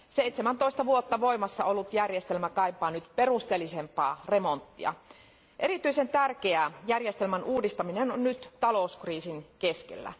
17 vuotta voimassa ollut järjestelmä kaipaa nyt perusteellisempaa remonttia. Erityisen tärkeää järjestelmän uudistaminen on nyt talouskriisin keskellä.